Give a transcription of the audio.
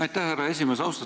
Aitäh, härra esimees!